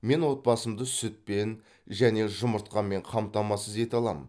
мен отбасымды сүтпен және жұмыртқамен қамтамасыз ете аламын